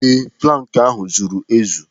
Ee, plankị ahụ zuru ezu.